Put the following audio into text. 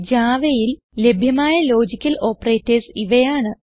Javaയിൽ ലഭ്യമായ logical operators ഇവയാണ്